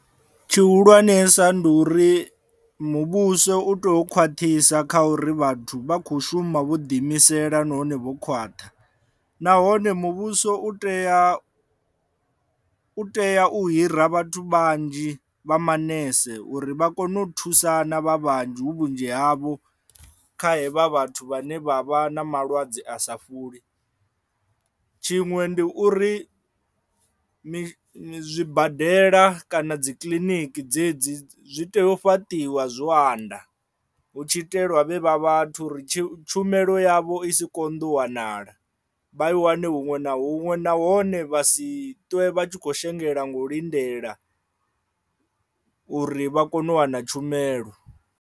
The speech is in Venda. Tshihulwanesa ndi uri muvhuso u tea u khwaṱhisa kha uri vhathu vha kho shuma vho ḓi imisela nahone vho khwaṱha nahone muvhuso u tea u tea u hira vhathu vhanzhi vha manese uri vha kone u thusana vha vhanzhi hu vhunzhi havho kha hevha vhathu vhane vha vha na malwadze a sa fholi. Tshiṅwe ndi uri zwibadela kana dzi kiḽiniki dzedzi zwi tea u fhaṱiwa zwo anda hu tshi itelwa vhe vha vhathu ri tshi tshumelo yavho i si konḓa u wanala vha i wane huṅwe na huṅwe nahone vha si ṱwe vha tshi khou shengela ngo lindela uri vha kone u wana tshumelo.